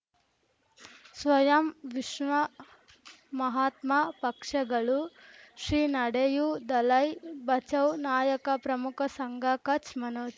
ಸ್ವಯಂ ವಿಶ್ವ ಮಹಾತ್ಮ ಪಕ್ಷಗಳು ಶ್ರೀ ನಡೆಯೂ ದಲೈ ಬಚೌ ನಾಯಕ ಪ್ರಮುಖ ಸಂಘ ಕಚ್ ಮನೋಜ್